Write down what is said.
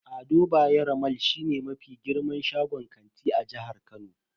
Ado Bayero mall shine mafi girman shagon kanti a jihar Kano.